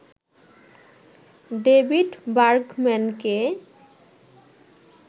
David বার্গম্যানকে